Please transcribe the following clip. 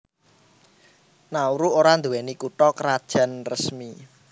Nauru ora nduwé kutha krajan resmi